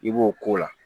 I b'o k'o la